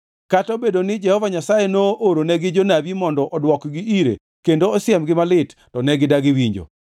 Kata obedo ni Jehova Nyasaye nooronegi jonabi mondo odwokgi ire kendo osiemgi malit, to ne gidagi winjo.